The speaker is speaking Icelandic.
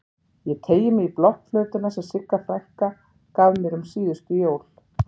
Ég teygi mig í blokkflautuna sem Sigga frænka gaf mér um síðustu jól.